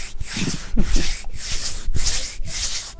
ভালো ছিল ততক্ষন?